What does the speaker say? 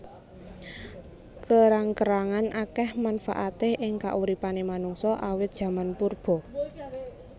Kerang kerangan akeh manfaaté ing kauripané manungsa awit jaman purba